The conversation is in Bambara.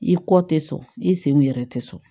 I kɔ tɛ sɔn i senw yɛrɛ tɛ so